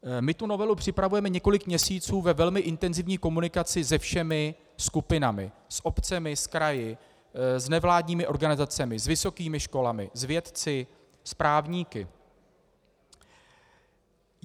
My tu novelu připravujeme několik měsíců ve velmi intenzivní komunikaci se všemi skupinami: s obcemi, s kraji, s nevládními organizacemi, s vysokými školami, s vědci, s právníky.